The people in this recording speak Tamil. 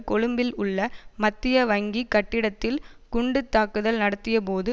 கொழும்பில் உள்ள மத்திய வங்கி கட்டிடத்தில் குண்டு தாக்குதல் நடத்தியபோது